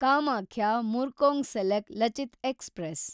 Kamakhya Murkongselek Lachit express